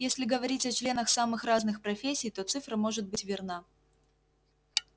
если говорить о членах самых разных профессий то цифра может быть верна